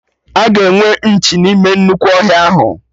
Aga enwe nchi n'ime nnukwu ọhịa ahụ